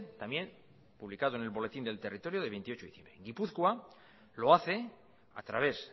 también publicado en el boletín del territorio de veintiocho de diciembre gipuzkoa lo hace a través